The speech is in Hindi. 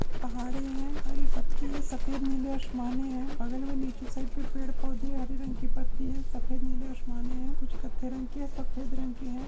पहाड़े है हरी पत्ती है सफेद नीले आशमाने है बगल मे नीचे साइड पे पेड़ पौधे हरी रंग की पत्ती है सफेद नीले आशमाने है कुछ कत्थई रंग की है सफेद रंग की है।